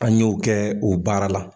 An y'o kɛ o baara la.